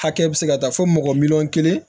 Hakɛ bɛ se ka taa fo mɔgɔ miliyɔn kelen